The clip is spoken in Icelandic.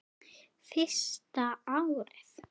Fyrsta árið.